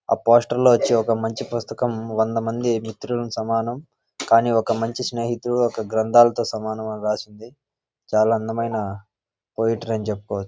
ఆ పోస్టర్ లో వచ్చి ఒక మంచి పుస్తకం వందమంది మిత్రులకు సమానం. కానీ ఒక మంచి స్నేహితుడు గ్రంథాలతో సమానం అని రాసి ఉంది . చాలా అందమైన పోయెట్రీ అని చెప్పు--